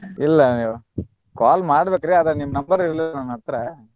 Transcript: ಇಲ್ಲ ಎವ್ವಾ call ಮಾಡ್ಬೇಕ್ರಿ ಆದ್ರ ನಿಮ್ಮ number ಇರ್ಲಿಲ್ಲ ನನ್ ಹತ್ರ.